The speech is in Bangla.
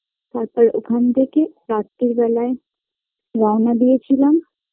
তারপর ওখান থেকে রাত্তির বেলায় রওনা দিয়েছিলাম